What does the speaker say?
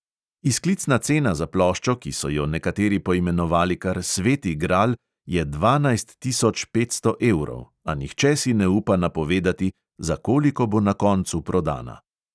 Izklicna cena za ploščo, ki so jo nekateri poimenovali kar sveti gral, je dvanajst tisoč petsto evrov, a nihče si ne upa napovedati, za koliko bo na koncu prodana.